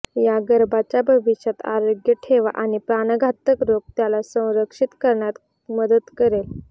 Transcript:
या गर्भाच्या भविष्यात आरोग्य ठेवा आणि प्राणघातक रोग त्याला संरक्षित करण्यात मदत करेल